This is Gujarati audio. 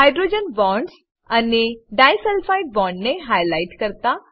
હાઇડ્રોજન બોન્ડસ અને ડાઈસલ્ફાઇડ બોન્ડને હાઈલાઈટ કરતા